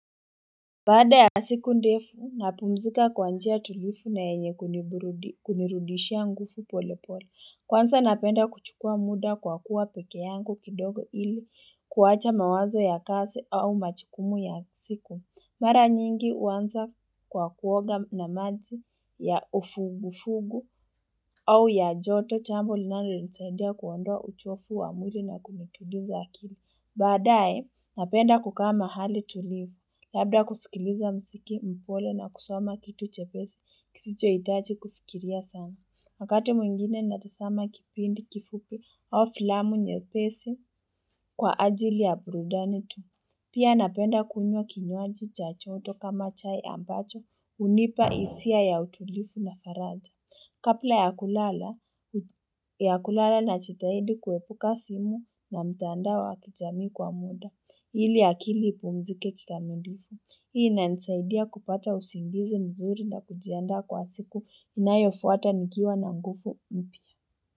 Baada ya siku ndefu, napumzika kwa njia tulivu na yenye kunirudishia nguvu pole pole. Kwanza napenda kuchukua muda kwa kuwa peke yangu kidogo ili, kuwacha mawazo ya kasi au machukumu ya siku. Mara nyingi uanza kwa kuoga na maji ya ufugu fugu au ya joto chambo linalo nisaidia kuondoa uchofu wa mwili na kunituliza akili. Baadae, napenda kukaa mahali tulivu, labda kusikiliza mziki mpole na kusoma kitu chepesi kisicho itaji kufikiria sana. Wakati mwingine natazama kipindi kifupi au filamu nyepesi kwa ajili ya brudani tu. Pia napenda kunywa kinywaji cha joto kama chai ambacho unipa isia ya utulivu na faraja. Kapla ya kulala, ya kulala nachitahidi kuepuka simu na mtandao wa kijami kwa muda, ili ipumzike kikamilifu. Hii inanisaidia kupata usingizi mzuri na kujiandaa kwa siku inayofuata nikiwa na ngufu mpya.